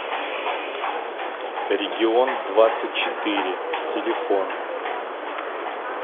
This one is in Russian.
региондвадцатьчетыре телефон